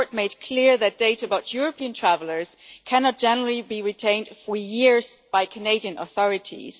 The court made clear that data about European travellers cannot, in general, be retained for years by Canadian authorities.